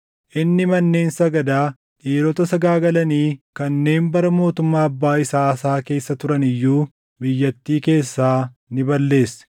Inni manneen sagadaa dhiirota sagaagalanii kanneen bara mootummaa abbaa isaa Aasaa keessa turan iyyuu biyyattii keessaa ni balleesse.